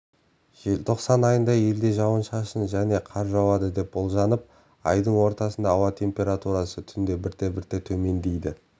желтоқсан айында елде жауын-шашын және қар жауады деп болжанып айдың ортасында ауа температурасы түнде бірте-бірте төмендейді